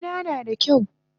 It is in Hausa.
Karena nada kyau